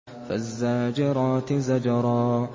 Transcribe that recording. فَالزَّاجِرَاتِ زَجْرًا